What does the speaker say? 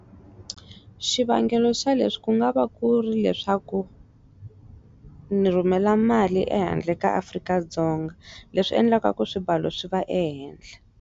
Xivangelo xa leswi ku nga va ku ri leswaku ni rhumela mali ehandle ka Afrika-Dzonga leswi endlaka ku swimbalo swi va ehenhla.